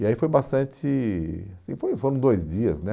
E aí foi bastante... assim foi foram dois dias, né?